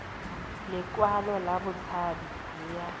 lekwalo la botshabi le ya